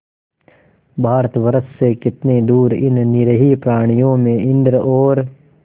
भारतवर्ष से कितनी दूर इन निरीह प्राणियों में इंद्र और